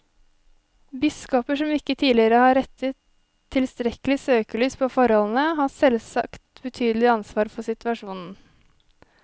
Biskoper som ikke tidligere har rettet tilstrekkelig søkelys på forholdene, har selvsagt betydelig ansvar for situasjonen.